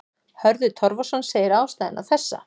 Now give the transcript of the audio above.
Hörður Torfason segir ástæðuna þessa.